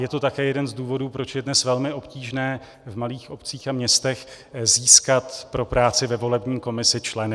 Je to také jeden z důvodů, proč je dnes velmi obtížné v malých obcích a městech získat pro práci ve volební komisi členy.